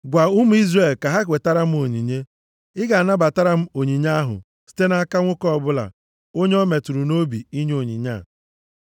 “Gwa ụmụ Izrel ka ha wetara m onyinye. Ị ga-anabatara m onyinye ahụ site nʼaka nwoke ọbụla onye o metụrụ nʼobi inye onyinye a.